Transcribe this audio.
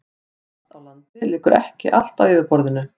Plast á landi liggur ekki allt á yfirborðinu.